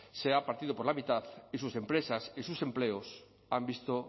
se ha partido por la mitad y sus empresas y sus empleos se han visto